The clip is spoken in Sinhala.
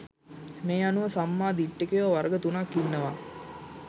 මේ අනුව සම්මා දිට්ඨිකයෝ වර්ග තුනක් ඉන්නවා